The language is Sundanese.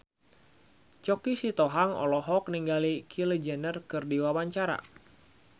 Choky Sitohang olohok ningali Kylie Jenner keur diwawancara